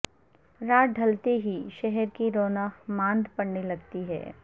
رات ڈھلتے ہی شہر کی رونق ماند پڑنے لگتی ہے